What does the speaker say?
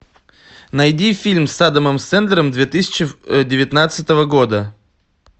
найди фильм с адамом сэндлером две тысячи девятнадцатого года